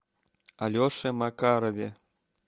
алеше макарове